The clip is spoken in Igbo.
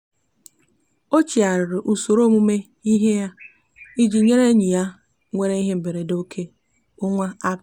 ọ chịgharịrị usoro ọmụmụ ihe ya iji nyere enyi ya nwere ihe mberede nke onwe aka.